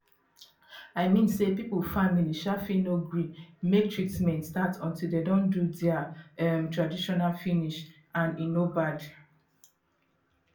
i mean say pipu family um fit no gree make treatment start until de don do dea um tradition finish and e no bad